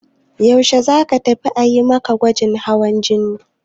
Yaushe za ka tafi a yi ma gwajin hawan jini?